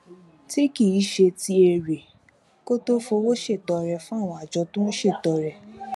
tí kì í ṣe ti èrè kí ó tó fi owó ṣètọrẹ fún àwọn àjọ tó ń ṣètọrẹ